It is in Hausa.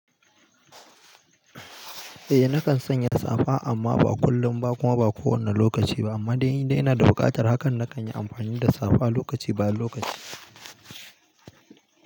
Eh nakan sanya safa amma ba kullum ba kuma ba kowane lokaci ba amma indai ina da buƙatar hakan nakan yi amfani da safa lokaci baya lokaci.